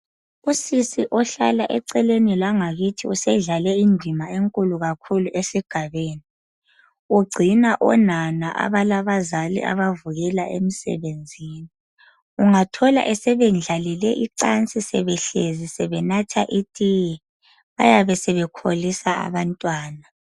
Usisi ohlala eceleni langakithi usedlale undima enkulu kakhulu esigabeni. Ugcina onana abalabazali abavukela emsebenzini ungathola esebendlalele icansi sebehlezi phansi sebenatha itiye bayabe sebekholisa abantwana.